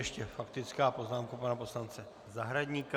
Ještě faktická poznámka pana poslance Zahradníka.